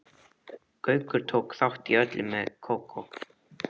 Gaukur tók þátt í öllu með Kókó.